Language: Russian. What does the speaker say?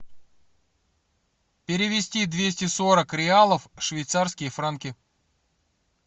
перевести двести сорок реалов в швейцарские франки